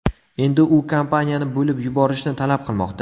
Endi u kompaniyani bo‘lib yuborishni talab qilmoqda.